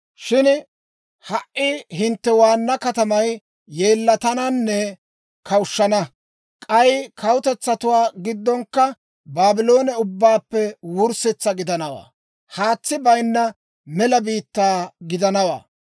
Shin ha"i hintte waanna katamay yeellatananne kawushshana. K'ay kawutetsatuwaa giddonkka Baabloone ubbaappe wurssetsa gidanawaa; haatsi bayinna mela biittaa gidanawaa.